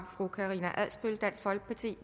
fru karina adsbøl dansk folkeparti